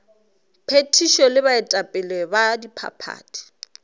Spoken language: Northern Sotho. phethišo le baetapele ba diphathi